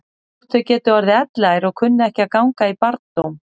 Þótt þau geti orðið elliær og kunni ekki að ganga í barndóm.